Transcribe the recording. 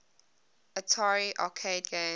atari arcade games